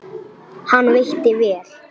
Hann veitti vel